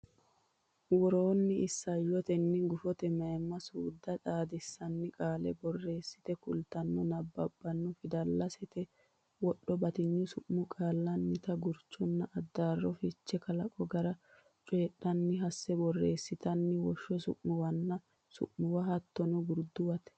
worroonni isayyotenna guffate mayimma suudda xaadissanni qaale borreessite kultanno nabbabbanno fidalsate wodho batinyu su mi qaallannita gurchonna addaarro fiche kalaqo gara coyidhanno hasse borreessitanno woshsho su muwanna su muwara hattono gurduwate.